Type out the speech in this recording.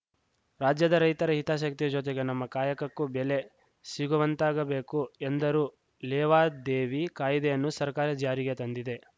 ರಾಜ್ಯದ ರೈತರ ಹಿತಾಸಕ್ತಿಯ ಜೊತೆಗೆ ನಮ್ಮ ಕಾಯಕಕ್ಕೂ ಬೆಲೆ ಸಿಗುವಂತಾಗಬೇಕು ಎಂದರು ಲೇವಾದೇವಿ ಕಾಯ್ದೆಯನ್ನು ಸರ್ಕಾರ ಜಾರಿಗೆ ತಂದಿದೆ